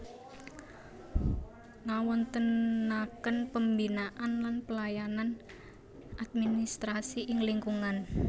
Ngawontenaken pembinaan lan pelayanan administrasi ing lingkungan